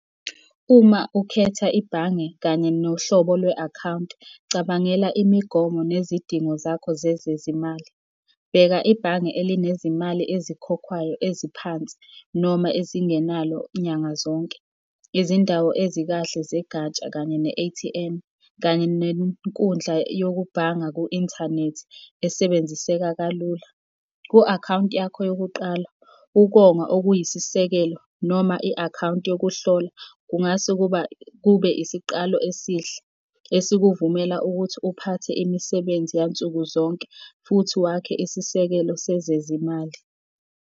Uma ukhetha ibhange kanye nohlobo lwe-akhawunti, cabangela imigomo nezidingo zakho zezezimali. Bheka ibhange elinezimali ezikhokhwayo eziphansi noma ezingenalo nyanga zonke. Izindawo ezikahle zegatsha kanye ne-A_T_M, kanye nenkundla yokubhanga ku-inthanethi esebenziseka kalula. Ku-akhawunti yakho yokuqala, ukonga okuyisisekelo noma i-akhawunti yokuhlola, kungase kuba kube isiqalo esihle, esikuvumela ukuthi uphathe imisebenzi yansuku zonke futhi wakhe isisekelo sezezimali.